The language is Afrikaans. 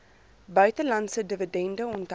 buitelandse dividende onthou